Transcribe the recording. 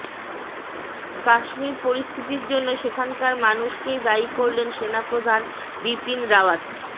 কাশ্মীর পরিস্থিতির জন্য সেখানকার মানুষকেই দায়ী করলেন সেনা প্রধান বিপিন রাওয়াত